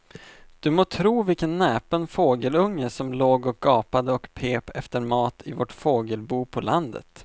Du må tro vilken näpen fågelunge som låg och gapade och pep efter mat i vårt fågelbo på landet.